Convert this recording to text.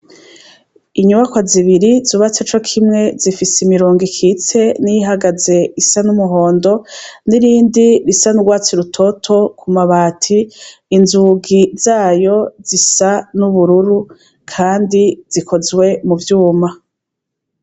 Inyubakwa zibiri zubatse co kimwe zifise imirongo ikitse n'iyihagaze isa n'umuhondo n'irindi risa n'urwatsi rutoto ku mabati, inzugi zayo zisa n'ubururu kandi zikozwe mu vyuma.